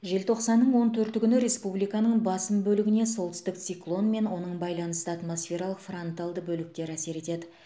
желтоқсанның он төрті күні республиканың басым бөлігіне солтүстік циклон мен оның байланысты атмосфералық фронталды бөліктер әсер етеді